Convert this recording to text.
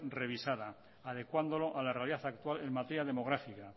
revisada adecuándolo a la realidad actual en materia demográfica